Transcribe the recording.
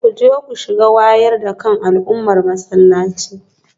Kuje ku shiga wayar da kan al'ummar masallaci